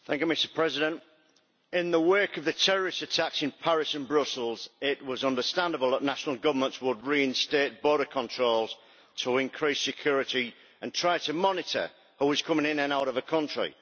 Mr President, in the wake of the terrorist attacks in Paris and Brussels it was understandable that national governments would reinstate border controls to increase security and try to monitor who was coming in and out of a country.